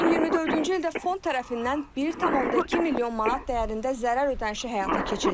2024-cü ildə fond tərəfindən 1,2 milyon manat dəyərində zərər ödənişi həyata keçirilib.